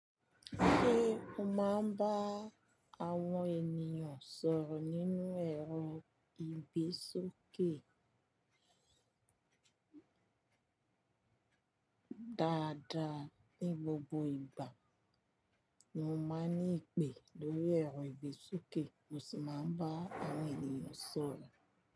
Ṣé o máa ń bá àwọn ènìyàn sọ̀rọ̀ nínú ẹ̀rọ ìgbésókè? Dada, ní gbogbo ìgbà mo máa ń ní ìpè lórí ẹ̀rọ ìgbésókè mo sì máa ń bá àwọn ènìyàn sọ̀rọ̀